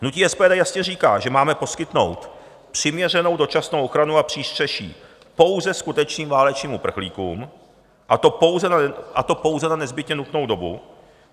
Hnutí SPD jasně říká, že máme poskytnout přiměřenou dočasnou ochranu a přístřeší pouze skutečným válečným uprchlíkům, a to pouze na nezbytně nutnou dobu.